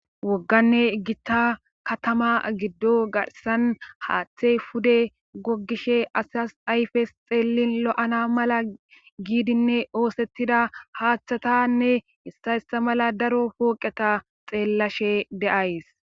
Wogganne gitta katama giddo garsan haaththey pude goggishe asyas ayfes xeelin lo7ana mala giidinne oosettida haaththatanne issayssa mala daro pooqeta xeellashe de7ays.